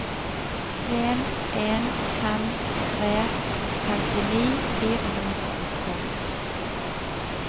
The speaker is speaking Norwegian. en en fem tre femtini fire hundre og tolv